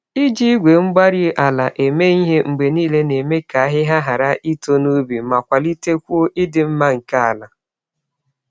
Iji igwe-mgbárí-ala eme ihe mgbe niile na-eme ka ahịhịa hàrà ito n'ubi ma kwalitekwuo ịdị mma nke àlà.